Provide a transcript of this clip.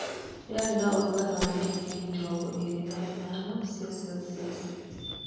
Rĩarĩ na ũrugarĩ wa digirii mĩrongo ĩrĩ na ithano cia Selsiasi.